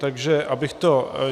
Takže abych to...